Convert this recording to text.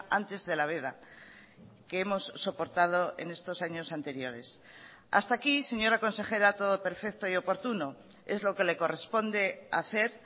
antes de la veda que hemos soportado en estos años anteriores hasta aquí señora consejera todo perfecto y oportuno es lo que le corresponde hacer